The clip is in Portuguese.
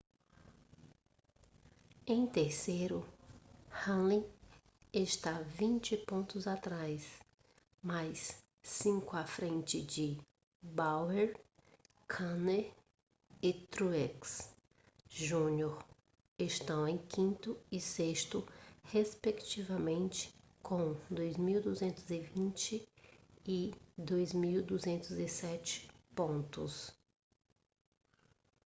em terceiro hamlin está vinte pontos atrás mas cinco à frente de bowyer kahne e truex jr estão em quinto e sexto respectivamente com 2.220 e 2.207 pontos